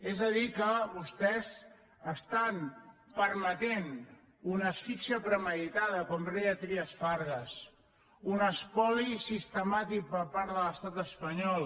és a dir que vostès estan permetent una asfíxia premeditada com deia trias fargas un espoli sistemàtic per part de l’estat espanyol